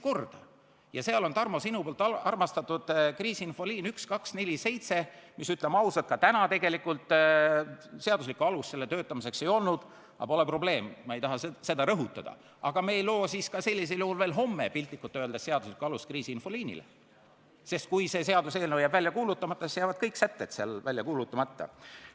Ja sellisel juhul, Tarmo, ei loo me sinu armastatud kriisiinfoliinile 1247, mille töötamiseks, ütleme ausalt, täna tegelikult seaduslikku alust ei ole – aga pole probleemi, mitte seda ei taha ma rõhutada –, ka veel homme piltlikult öeldes seaduslikku alust, sest kui see seadus jääb välja kuulutamata, siis jäävad kõik selle sätted välja kuulutamata.